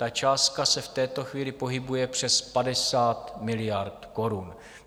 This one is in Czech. Ta částka se v této chvíli pohybuje přes 50 miliard korun.